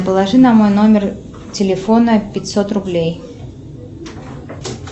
положи на мой номер телефона пятьсот рублей